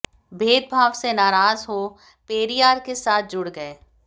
भेदभाव से नाराज हो पेरियार के साथ जुड़ गए